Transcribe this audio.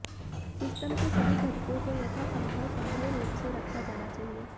system के सभी घटकों को यथासंभव संभव रूप से रखा जाना चाहिए